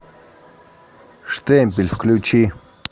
штемпель включи